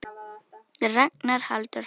Ragnar Halldór Hall.